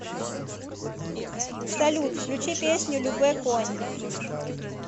салют включи песню любэ конь